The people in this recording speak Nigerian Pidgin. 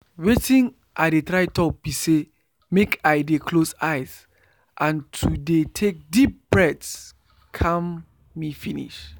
watin i dey try talk be say make i dey close eyes and to dey take deep breath calm me finish.